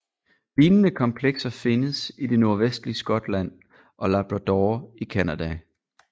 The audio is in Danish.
Lignende komplekser findes i det nordvestlige Skotland og Labrador i Canada